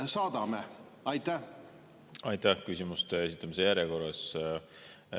küsimuste esitamiste järjekorras.